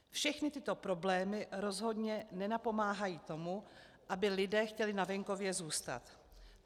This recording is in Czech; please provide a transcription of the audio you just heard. Všechny tyto problémy rozhodně nenapomáhají tomu, aby lidé chtěli na venkově zůstat.